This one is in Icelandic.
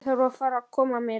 Ég þarf að fara að koma mér.